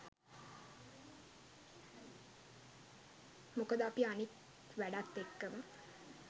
මොකද අපි අනික් වැඩත් එක්කම